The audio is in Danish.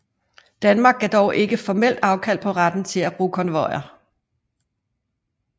Danmark gav dog ikke formelt afkald på retten til at bruge konvojer